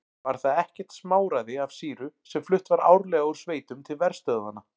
Var það ekkert smáræði af sýru sem flutt var árlega úr sveitum til verstöðvanna.